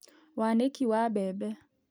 Wanĩki wa mbembe